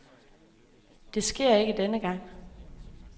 Det sker ikke denne gang.